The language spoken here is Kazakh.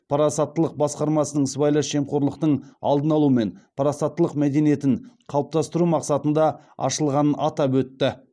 парасаттылық басқармасының сыбайлас жемқорлықтың алдын алу мен парасаттылық мәдениетін қалыптастыру мақсатында ашылғанын атап өтті